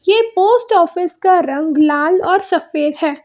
ये post office का रंग लाल और सफेद है।